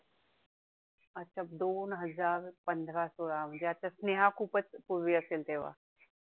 अच्छा, दोन हजार पंधरा सोळा, म्हणजे आता स्नेहा खूपचं पूर्वी असेल तेव्हा